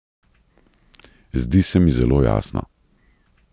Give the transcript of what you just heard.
Zdi se mi zelo jasno.